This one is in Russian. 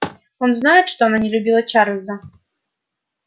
он знает что она не любила чарлза